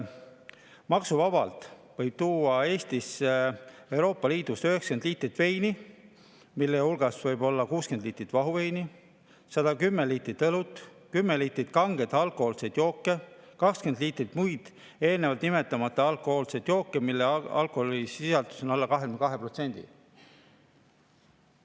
Maksuvabalt võib Euroopa Liidust Eestisse tuua 90 liitrit veini, mille hulgas võib olla 60 liitrit vahuveini ning 110 liitrit õlut, 10 liitrit kangeid alkohoolseid jooke ja 20 liitrit muid, eelnevalt nimetamata alkohoolseid jooke, mille alkoholisisaldus on alla 22%.